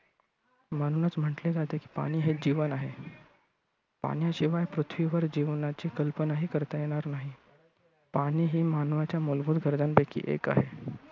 म्हणूनच म्हटले जाते की पाणी हे जीवन आहे. पाण्याशिवाय पृथ्वीवर जीवनाची कल्पनाही करता येणार नाही. पाणी हे मानावाच्या मूलभूत गरजांपैकी एक आहे.